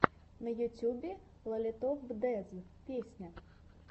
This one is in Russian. на ютьюбе лолито фдез песня